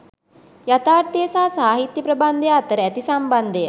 යථාර්ථය හා සාහිත්‍ය ප්‍රබන්ධය අතර ඇති සම්බන්ධය